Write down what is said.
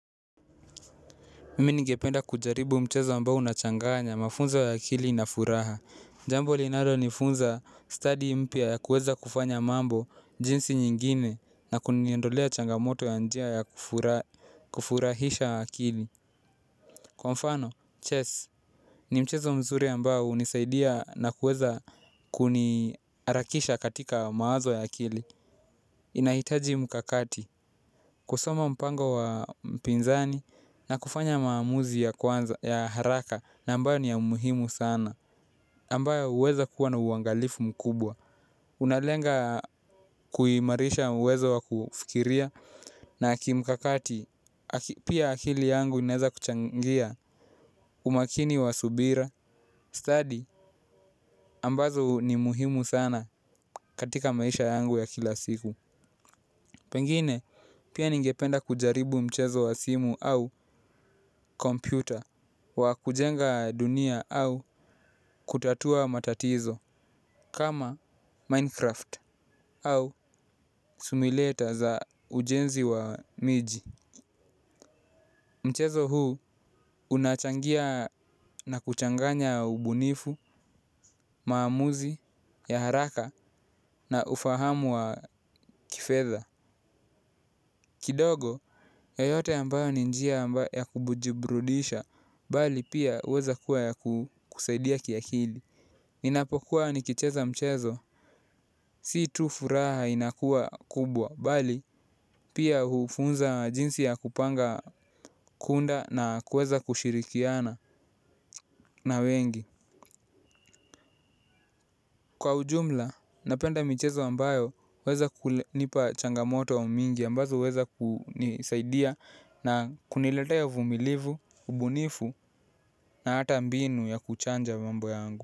Mimi ningependa kujaribu mchezo ambao unachanganya mafunzo wa akili na furaha. Jambo linalo nifunza study mpya ya kuweza kufanya mambo jinsi nyingine na kuniondolea changamoto ya njia ya kufurahisha akili. Kwa mfano, chess ni mchezo mzuri ambao hunisaidia na kueza kuniharakisha katika mawazo ya akili. Inaitaji mkakakati kusoma mpango wa mpinzani na kufanya maamuzi ya kwanza ya haraka na ambayo ni ya umuhimu sana ambayo huweza kuwa na uangalifu mkubwa. Unalenga kuhimarisha uwezo wa kufikiria na kimkakati pia akili yangu inaweza kuchangia umakini wa subira Study ambazo ni muhimu sana katika maisha yangu ya kila siku. Pengine pia ningependa kujaribu mchezo wa simu au kompyuta. Wa kujenga dunia au kutatua matatizo. Kama Minecraft au simulator za ujenzi wa miji. Mchezo huu unachangia na kuchanganya ubunifu, maamuzi, ya haraka na ufahamu wa kifedha. Kidogo, yoyote ambayo ni njia ambayo ya kubujibrudisha, bali pia huweza kuwa ya kukusaidia kiakili. Ninapokuwa nikicheza mchezo, si tu furaha inakuwa kubwa, bali pia hufunza jinsi ya kupanga kuunda na kuweza kushirikiana na wengi. Kwa ujumla, napenda michezo ambayo huweza kunipa changamoto wa mingi ambazo huweza kunisaidia na kuniletea uvumilivu, ubunifu na hata mbinu ya kuchanja mambo yangu.